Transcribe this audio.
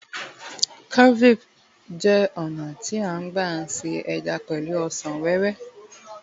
cervi jé ònà ti a n gba se eja pẹlu ọsàn wéwé